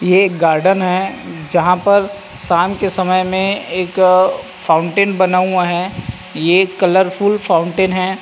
ये एक गार्डन है जहाँ पर शाम के समय पर एक फाउंटेन बना हुआ है यह कलरफुल फाउंटेन है।